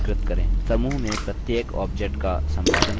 समूह में प्रत्येक objects का सम्पादन करें